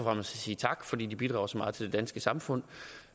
at sige tak fordi de bidrager så meget til det danske samfund